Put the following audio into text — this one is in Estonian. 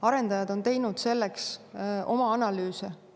Arendajad on teinud selle kohta oma analüüse.